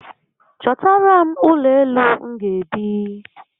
Chotara m ulo elu m ga-ebi